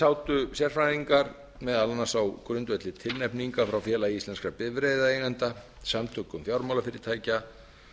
sátu sérfræðingar meðal annars á grundvelli tilnefninga frá félagi íslenskra bifreiðaeigenda samtökum fjármálafyrirtækja